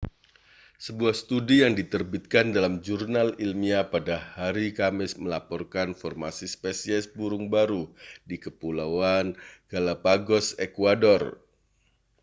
sebuah studi yang diterbitkan dalam jurnal ilmiah pada haris kamis melaporkan formasi spesies burung baru di kepulauan galã¡pagos ekuador